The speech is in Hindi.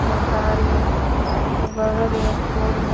मकान के बगल में एक पोल है।